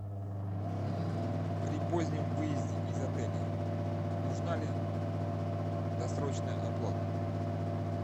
при позднем выезде из отеля нужна ли досрочная оплата